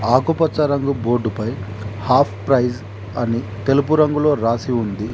ఆకుపచ్చ రంగు బోర్డుపై హాఫ్ ప్రైస్ అని తెలుపు రంగులో రాసి ఉంది.